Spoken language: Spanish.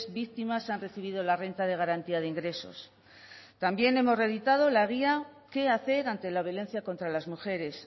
víctimas han recibido la renta de garantía de ingresos también hemos reeditado la guía qué hacer ante la violencia contra las mujeres